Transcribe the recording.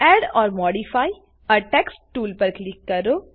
add or modify a text tool પર click કરો